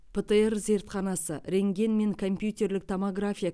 птр зертханасы рентген мен компьютерлік томография